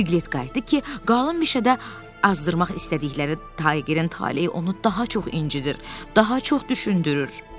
Piglet qayıtdı ki, qalın meşədə azdırmaq istədikləri Taygerin taleyi onu daha çox incidir, daha çox düşündürür.